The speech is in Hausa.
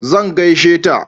zan gaishe ta